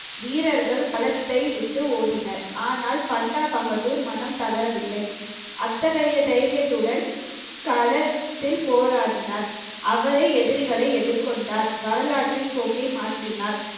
வீரர்கள் களத்தை விட்டு ஓடினர் ஆனால் பண்டா பகதூர் மனம் தளரவில்லை அத்தகைய தைரியத்துடன் களத்தில் போராடினார் அவரே எதிரிகளை எதிர்கொண்டார் வரலாற்றின் போக்கை மாற்றினார்